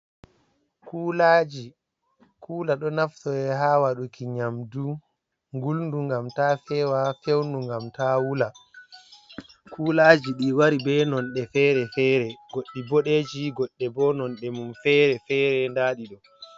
Kulaji: Kula ɗo naftore ha waɗuki nyamdu nguldum ngam ta fewa, feunu ngam ta wula. Kulaji ɗi wari be nonde fere-fere goɗɗi boɗeji, goɗɗi bo nonde mum fere fere nda ɗiɗo.